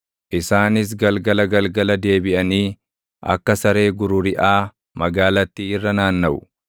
Isaanis galgala galgala deebiʼanii, akka saree gururiʼaa magaalattii irra naannaʼu.